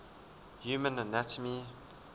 human anatomy